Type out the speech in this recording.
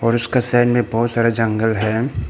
और इसका साइड में बहुत सारे जंगल है।